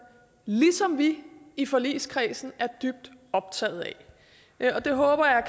ligesom vi i forligskredsen er dybt optaget af det håber jeg